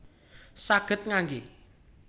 Saged ngangge